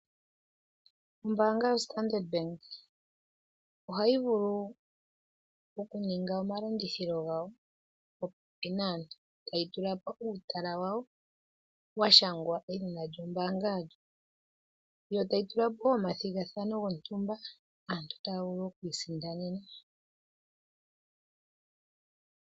Ombaanga yoStandard bank, ohayi vulu oku ninga oma landithilo gawo po pepi naantu, taya tulapo uutala kayo wa shangwa edhina lyo mbaanga yawo, yo taya tulapo omathigathano gontumba, aantu taya vulu oku isindanena.